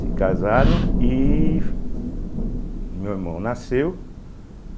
Se casaram e meu irmão nasceu.